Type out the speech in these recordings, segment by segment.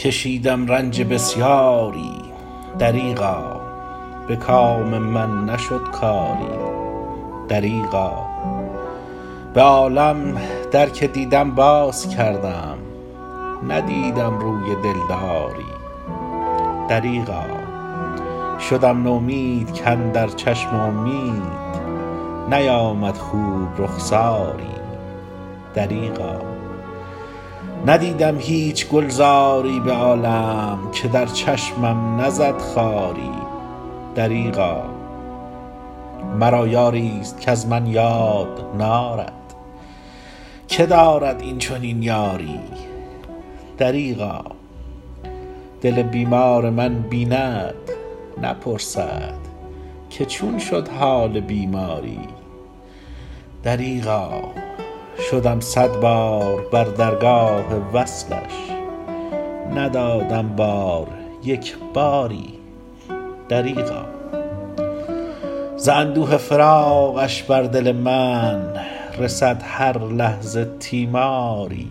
کشیدم رنج بسیاری دریغا به کام من نشد کاری دریغا به عالم در که دیدم باز کردم ندیدم روی دلداری دریغا شدم نومید کاندر چشم امید نیامد خوب رخساری دریغا ندیدم هیچ گلزاری به عالم که در چشمم نزد خاری دریغا مرا یاری است کز من یاد نارد که دارد این چنین یاری دریغا دل بیمار من بیند نپرسد که چون شد حال بیماری دریغا شدم صدبار بر درگاه وصلش ندادم بار یک باری دریغا ز اندوه فراقش بر دل من رسد هر لحظه تیماری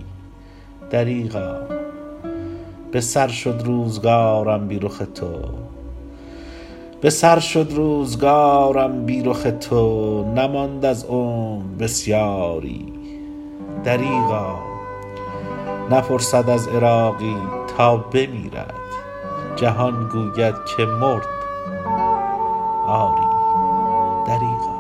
دریغا به سر شد روزگارم بی رخ تو نماند از عمر بسیاری دریغا نپرسد از عراقی تا بمیرد جهان گوید که مرد آری دریغا